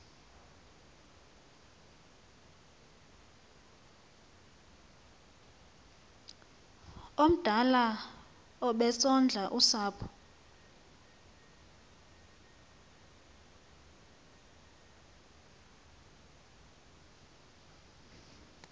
omdala obesondla usapho